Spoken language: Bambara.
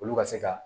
Olu ka se ka